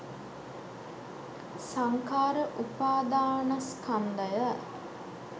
සංඛාර උපාදානස්කන්ධය